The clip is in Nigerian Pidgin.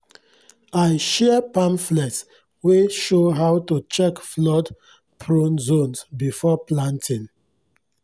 i share pamphlets wey show how to check flood-prone zones before planting